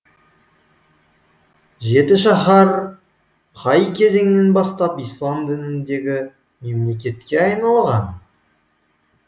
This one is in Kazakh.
жетішаһар қай кезеңнен бастап ислам дініндегі мемлекетке айналған